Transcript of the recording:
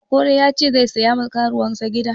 Okoro ya ce sai siya ma karuwansa gida